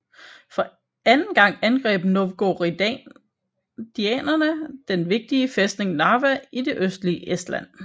For anden gang angreb novgorodianerne den vigtige fæstning Narva i det østlige Estland